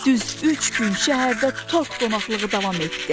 Düz üç gün şəhərdə tort qonaqlığı davam etdi.